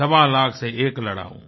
सवा लाख से एक लड़ाऊँ